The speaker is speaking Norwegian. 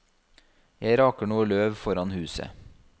Jeg raker noe løv foran huset.